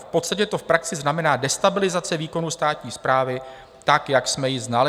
V podstatě to v praxi znamená destabilizaci výkonu státní správy, tak jak jsme ji znali.